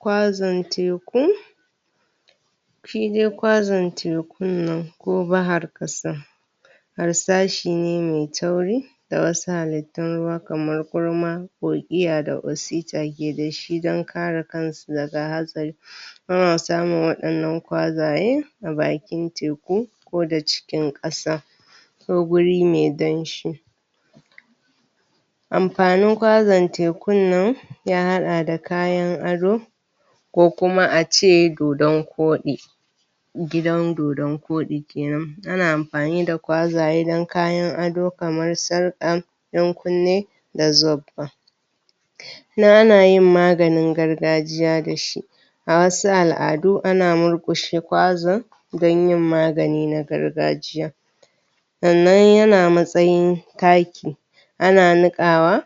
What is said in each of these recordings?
Kwazan teku shi de kwazan tekun nan ko bahar ƙasa harsashi ne mai tauri da wasu halittun ruwa kamar gurma kogiya da wasita ke da shi dan kare kan su daga hatsari ana samun waɗannan kwazaye a bakin teku ko da cikin ƙasa ko guri me danshi amfanin kwazan tekun nan ya haɗa da kayan ado ko kuma a ce dodonkoɗi gidan dodonkoɗi kenan ana amfani da kwazaye dan kayan ado kamar sarƙa ɗankunne da robba ana yin maganin gargajiya da shi a wasu al'adu ana murƙushe kwazan dan yin magani na gargajiya sannan yana matsayin taki ana niƙawa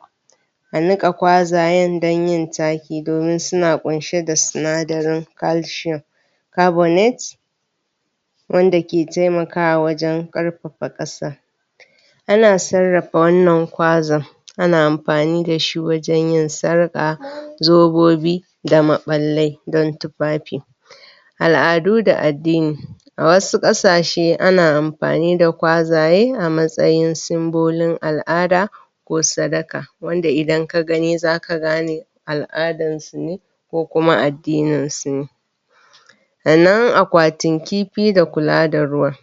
a niƙa kwazayen dan yin taki domin suna ƙunshe da sinadarin calcium carbonate wanda ke taimakawa wajen ƙarfafa ƙasa ana sarrafa wannan kwazan ana amfani da shi wajen yin sarƙa zobobi da maɓallai dan tufafi al'adu da addini a wasu ƙasashe ana amfani da kwazaye a matsayin simbolin al'ada ko sadaka wanda idan ka gani zaka gane al'adan su ne ko kuma addinin su ne a nan akwatin kifi da kula da ruwa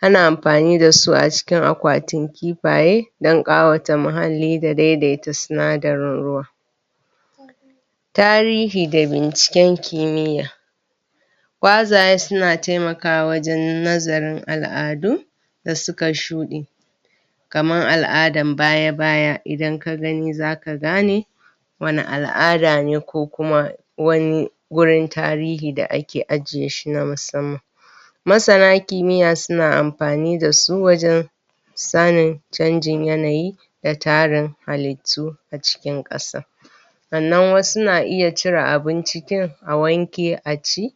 ana amfani da su a cikin akwatin kifaye dan ƙawata muhalli da daidaita sinadarin ruwa tarihi da binciken kimiyya kwazaye suna taimakawa wajen nazarin al'adu da suka shuɗe kaman al'adan baya-baya idan ka gani zaka gane wani al'ada ne ko kuma wani wurin tarihi da ake ajiye shi na musamman masana kimiyya suna amfani da su wajen sanin canjin yanayi da tarin halittu a cikin ƙasa sannan wasu na iya cire abin cikin a wanke a ci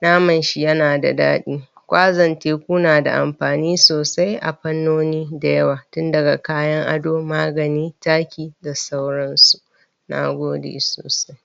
naman shi yana da daɗi kwazan teku na da amfani sosai a fannoni da yawa tun daga kayan ado, magani, taki da sauran su na gode sosai.